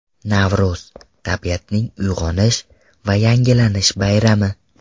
Navro‘z – tabiatning uyg‘onish va yangilanish bayrami.